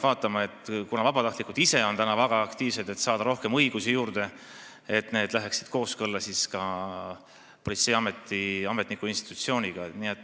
Küll aga, kuna vabatahtlikud ise on väga aktiivsed, et saada rohkem õigusi juurde, peab vaatama, et need õigused oleksid kooskõlas politseiameti kui ametliku institutsiooni õigustega.